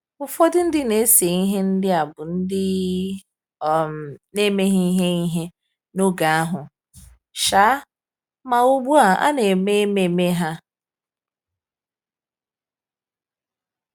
Ụfọdụ ndị na-ese ihe ndị a bụ ndị um na-emeghị ihe ihe n’oge ahụ, um ma ugbu a a na-eme ememe ha.